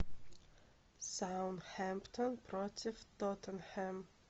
саутгемптон против тоттенхэм